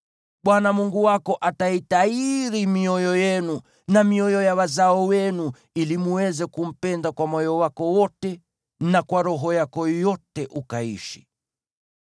Bwana Mungu wako ataitahiri mioyo yenu na mioyo ya wazao wenu ili mweze kumpenda kwa moyo wako wote na kwa roho yako yote ukaishi.